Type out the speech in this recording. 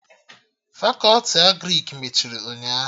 Fakọti Agrịk mechiri ụnyaahụ